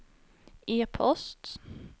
e-post